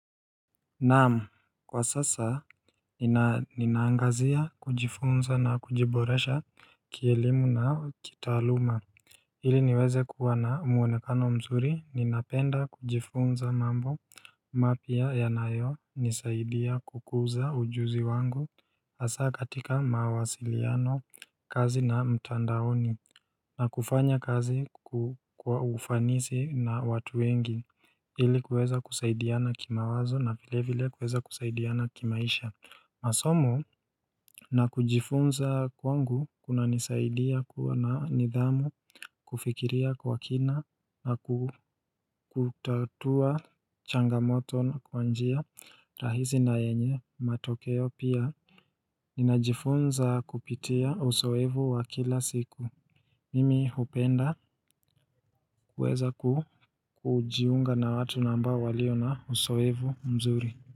Naam kwa sasa ninaangazia kujifunza na kujiboresha kielimu na kitaluma Hili niweze kuwa na umwonekano mzuri ninapenda kujifunza mambo mapia yanayo nisaidia kukuza ujuzi wangu Asa katika mawasiliano kazi na mtandaoni na kufanya kazi kwaufanisi na watu wengi ili kueza kusaidiana kima wazo na vile vile kueza kusaidiana kimaisha masomo na kujifunza kwangu kuna nisaidia kuwa na nidhamu kufikiria kwa kina na kutatua changamoto kwa njia rahizi na yenye matokeo pia Ninajifunza kupitia osoevu wa kila siku Mimi hupenda kuweza kujiunga na watu nambao waliona osoevu mzuri.